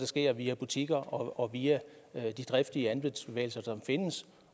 sker via butikker og via de driftige andelsbevægelser som findes